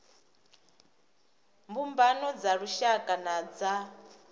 mbumbano dza lushaka na dza